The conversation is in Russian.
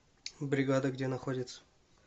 бригада где находится